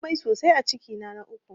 Na yi amai sosai a cikina na uku